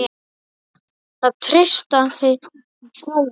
Það treysta þeim fáir.